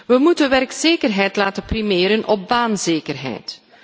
We moeten werkzekerheid laten primeren op baanzekerheid.